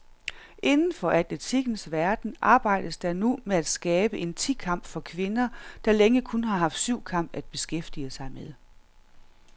Inden for atletikkens verden arbejdes der nu med at skabe en ti kamp for kvinder, der længe kun har haft syvkamp at beskæftige med.